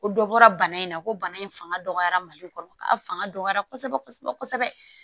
Ko dɔ bɔra bana in na ko bana in fanga dɔgɔyara mali kɔnɔ ka fanga dɔgɔyara kosɛbɛ kosɛbɛ kosɛbɛ